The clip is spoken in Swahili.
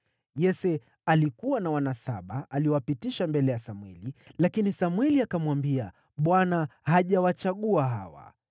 Yese alikuwa na wana saba aliowapitisha mbele ya Samweli, lakini Samweli akamwambia, “ Bwana hajawachagua hawa.”